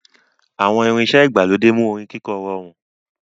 Àwọn irinṣẹ́ ìgbàlódé mú orin kíkọ rọrùn.